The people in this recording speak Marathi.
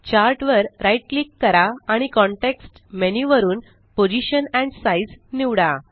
चार्ट वर राइट क्लिक करा आणि कॉंटेक्स्ट मेन्यु वरुन पोझिशन एंड साइझ निवडा